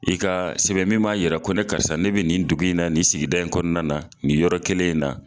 I ka sɛbɛn min ma yɛrɛ ko ne karisa ne be nin dugu in na nin sigida in kɔnɔna na nin yɔrɔ kelen in na